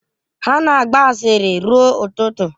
Ha na-agba asịrị ruo ụtụtụ